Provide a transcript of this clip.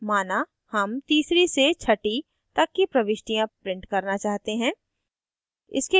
माना हम तीसरी से छठी तक की प्रविष्टियाँ print करना चाहते हैं